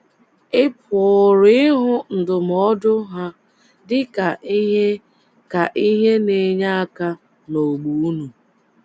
Ị pụrụ ịhụ ndụmọdụ ha dị ka ihe ka ihe na - enye aka n’ógbè unu.